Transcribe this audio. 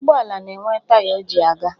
Ụgbọala na-enwe taya o ji aga